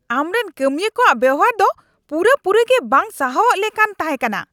ᱟᱢᱨᱮᱱ ᱠᱟᱹᱢᱤᱭᱟᱹ ᱠᱚᱣᱟᱜ ᱵᱮᱣᱦᱟᱨ ᱫᱚ ᱯᱩᱨᱟᱹᱯᱩᱨᱤ ᱜᱮ ᱵᱟᱝ ᱥᱟᱦᱟᱣᱚᱜ ᱞᱮᱞᱟᱱ ᱛᱟᱦᱮᱸ ᱠᱟᱱᱟ ᱾